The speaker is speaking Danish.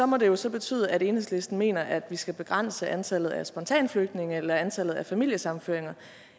må det jo så betyde at enhedslisten mener at vi skal begrænse antallet af spontanflygtninge eller antallet af familiesammenføringer